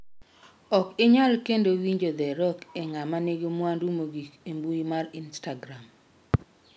Ok inyal kendo winjo The Rock e 'ng'ama nigi mwandu mogik' e mbui mar Instagram.